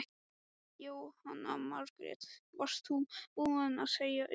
Jóhanna Margrét: Varst þú búin að segja upp?